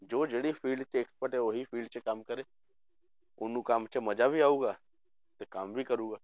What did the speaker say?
ਜੋ ਜਿਹੜੀ field 'ਚ expert ਹੈ ਉਹੀ field 'ਚ ਕੰਮ ਕਰੇ, ਉਹਨੂੰ ਕੰਮ 'ਚ ਮਜ਼ਾ ਵੀ ਆਊਗਾ ਤੇ ਕੰਮ ਵੀ ਕਰੇਗਾ।